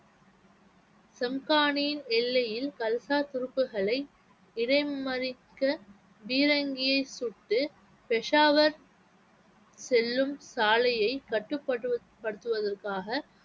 சம்கானியின் எல்லையில் கல்சா துருப்புகளை இடைமறிக்க பீரங்கியை சுட்டு பெஷாவர் செல்லும் சாலையை கட்டுப்படு~ ~படுத்துவதற்காக